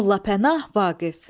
Molla Pənah Vaqif.